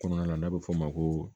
Kɔnɔna na n'a bɛ fɔ o ma ko